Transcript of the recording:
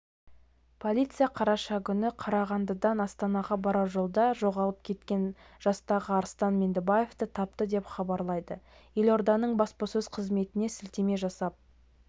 полиция қараша күні қарағандыдан астанаға барар жолда жоғалып кеткен жастағы арыстан меңдібаевты тапты деп хабарлайды елорданың баспасөз қызметіне сілтеме жасап